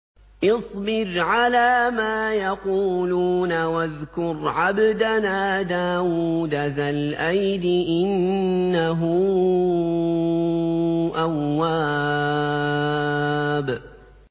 اصْبِرْ عَلَىٰ مَا يَقُولُونَ وَاذْكُرْ عَبْدَنَا دَاوُودَ ذَا الْأَيْدِ ۖ إِنَّهُ أَوَّابٌ